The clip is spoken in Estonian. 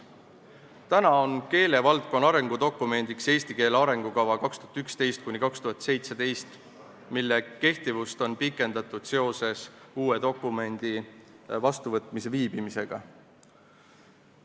Täna on keelevaldkonna arengudokumendiks eesti keele arengukava 2011–2017, mille kehtivust on pikendatud seoses uue dokumendi vastuvõtmise viibimisega.